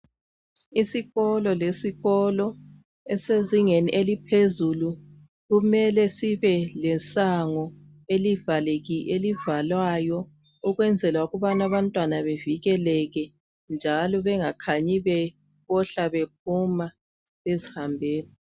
Isikolo lesikolo esisezingeni eliphezulu kumele sibelesango elivaleki elivalwayo ukwenzela ukubana abantwana bevikeleke njalo bangakhanyi befohla bephuma bezihambela.